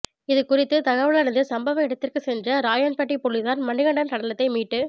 இதுகுறித்து தகவலறிந்து சம்பவ இடத்திற்குச் சென்ற ராயப்பன்பட்டி போலீஸாா் மணிகண்டனின் சடலத்தை மீட்டு